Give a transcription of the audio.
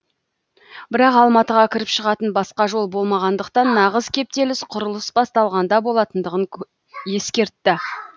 бірақ алматыға кіріп шығатын басқа жол болмағандықтан нағыз кептеліс құрылыс басталғанда болатындығын ескертті